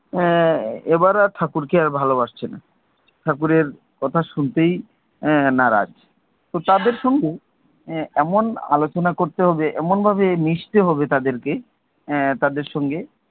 এবার আর ঠাকুরকে আর ভালো বাসছে না। ঠাকুরের কথা শুনতেই এর নারাজ। তো তাদের সঙ্গে এর এমন আলোচনা করতে হবে, এমন ভাবে মিশতে হবে তাদেরকে এর তাদের সঙ্গে,